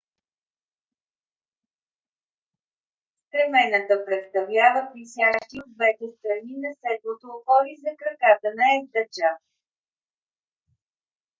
стремената представляват висящи от двете страни на седлото опори за краката на ездача